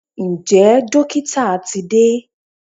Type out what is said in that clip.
Ǹjẹ́ dókítà ti de?